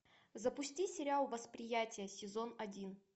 запусти сериал восприятие сезон один